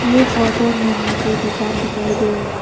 ये फोटो में मुझे दुकान दिखाई दे रहा।